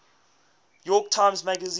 york times magazine